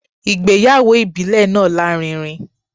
Ìgbéyàwó ìbílẹ̀ náà lárinrin